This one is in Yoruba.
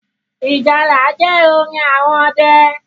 Ìjálá jẹ́ orin àwọn ọdẹ